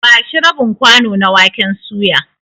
Ba shi rabin kwano na waken suya.